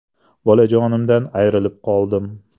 Bolajonimdan ayrilib qoldim.